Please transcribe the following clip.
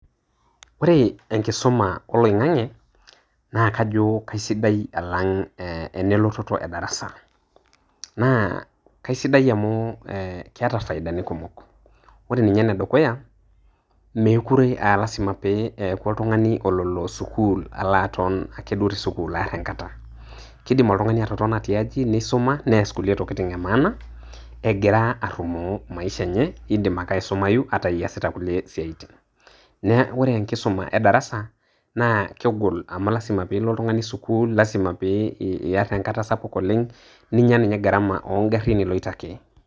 Ore enkisuma oloing'ang'ie naa kaijo kaisidai elototo e darasa naa kaisidai amu keeta faidani kumok. Ore ninye ene dukuya mekure lasima pee eaku oltung'ani ololo sukuul aton ake te sukuu aar enkata, keidim oltung'ani atotona tiaji neisuma, neas kulie tokitin e maana egira arumoo maisha enye eidim ake aisumayu iasita kuliie siaitin naa kore enkisuma e darasa naa kegol aamu lasima naa piilo oltung'ani sukuul, lasima piiar enkata sapuk oleng', ninya ninye garama oong'ariin iloito ake.